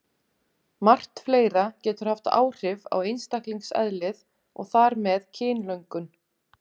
Margt fleira getur haft áhrif á einstaklingseðlið og þar með kynlöngun.